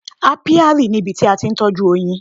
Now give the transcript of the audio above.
Apiary ni ibi tí a ti ń tọ́jú oyin.